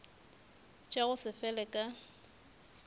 tša go se fele ka